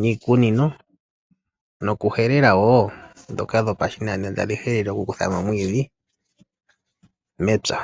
niikunino noku helela wo. Dhoka dhopashinanena tadhi kudha mo omwiidhi mepya.